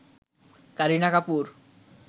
Kareena Kapoor